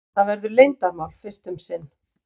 Það verður leyndarmál fyrst um sinn.